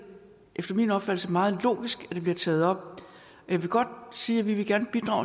efter min opfattelse meget logisk at det bliver taget op jeg vil godt sige at vi gerne